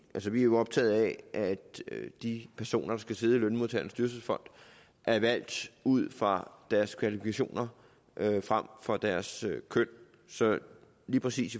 vi er jo optaget af at de personer der skal sidde i lønmodtagernes dyrtidsfond er valgt ud fra deres kvalifikationer frem for deres køn så lige præcis